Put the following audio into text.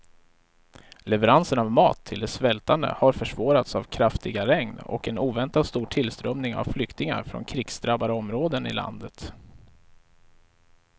Leveranserna av mat till de svältande har försvårats av kraftiga regn och en oväntat stor tillströmning av flyktingar från krigsdrabbade områden i landet.